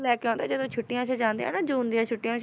ਲੈ ਕੇ ਆਉਂਦੇ ਆ ਜਦੋਂ ਛੁੱਟੀਆਂ 'ਚ ਜਾਂਦੇ ਆ ਨਾ ਜੂਨ ਦੀਆਂ ਛੁੱਟੀਆਂ 'ਚ